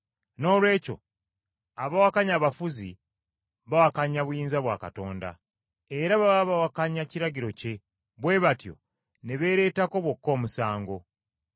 Noolwekyo abawakanya abafuzi, bawakanya buyinza bwa Katonda. Era baba bawakanya kiragiro kye, bwe batyo ne beereetako bokka omusango.